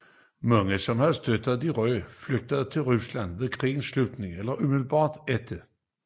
Mange som havde støttet de røde flygtede til Rusland ved krigens slutning og umiddelbart efter